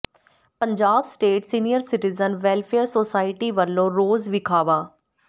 Punjab state senior citizen welfare society ਵੱਲੋਂ ਰੋਸ ਵਿਖਾਵਾ